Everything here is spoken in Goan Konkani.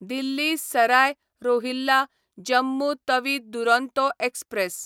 दिल्ली सराय रोहिल्ला जम्मू तवी दुरोंतो एक्सप्रॅस